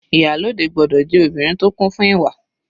Ìyálòde gbọ́dọ̀ jẹ́ obìnrin tó kún fún ìwà.